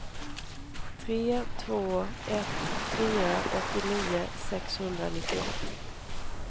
tre två ett fyra åttionio sexhundranittioett